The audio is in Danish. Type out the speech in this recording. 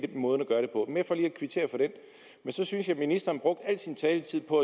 måden at at kvittere for den men så synes jeg ministeren brugte al sin taletid på